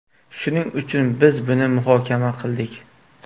Shuning uchun, biz buni muhokama qildik.